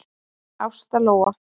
Ásta Lóa.